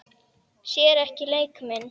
Sér ekki leik minn.